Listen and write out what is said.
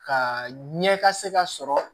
Ka ɲɛ ka se ka sɔrɔ